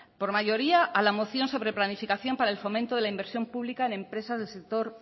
por mayoría a la moción sobre planificación para el fomento de la inversión pública en empresas del sector